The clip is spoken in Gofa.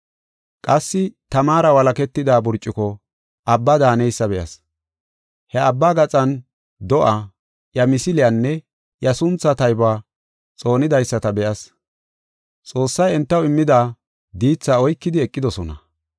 Qassi tamara walaketida burcuko abba daaneysa be7as. He abba gaxan do7aa, iya misiliyanne iya sunthaa taybuwa xoonidaysata be7as. Xoossay entaw immida diithaa oykidi eqidosona.